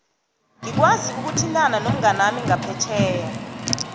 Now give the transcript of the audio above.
ngikwazi ukuthintana nomnganami ngaphetjheya